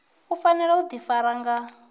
u fanela u ḓifara nga